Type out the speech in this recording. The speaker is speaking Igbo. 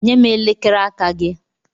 Nye m elekere aka gị.